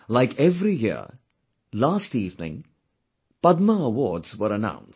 Like every year, last evening Padma awards were announced